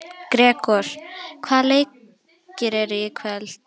Gregor, hvaða leikir eru í kvöld?